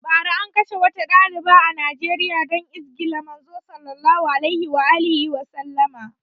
Bara an kashe wata ɗaliba a Nijeriya dan izgila Manzon Allah Sallallahu alaihi Wasallama